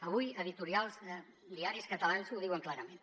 avui editorials de diaris catalans ho diuen clarament